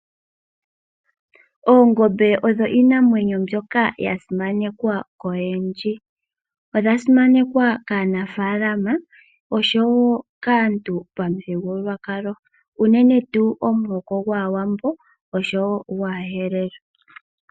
Oongombe odho iinamwenyo mbyoka ya simanekwa koyendji. Odha simanekwa kaanafaalama osho wo kaantu pamuthigululwakalo unene tuu omuhoko gwAawambo nosho wo gwAaherero.